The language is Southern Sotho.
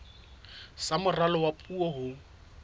sa moralo wa puo ho